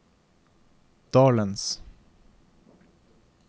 dalens